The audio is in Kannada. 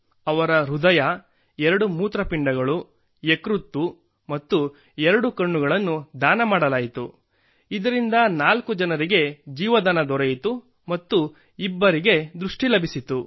ಅವರ ಹೃದಯ ಎರಡು ಮೂತ್ರಪಿಂಡಗಳು ಯಕೃತ್ತು ಮತ್ತು ಎರಡೂ ಕಣ್ಣುಗಳನ್ನು ದಾನ ಮಾಡಲಾಯಿತು ಇದರಿಂದ ನಾಲ್ಕು ಜನರಿಗೆ ಜೀವದಾನ ದೊರೆಯಿತು ಮತ್ತು ಇಬ್ಬರಿಗೆ ದೃಷ್ಟಿ ಲಭಿಸಿತು